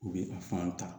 U bɛ a fan ta